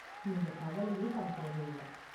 நீங்க கவலையே படத் தேவையில்ல.